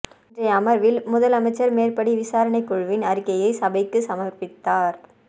இன்றைய அமர்வில் முதலமைச்சர் மேற்படி விசாரணை குழுவின் அறிக்கையை சபைக்கு சமர்பித்தார்